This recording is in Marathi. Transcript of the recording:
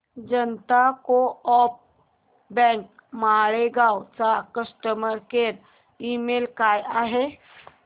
जनता को ऑप बँक मालेगाव चा कस्टमर केअर ईमेल काय आहे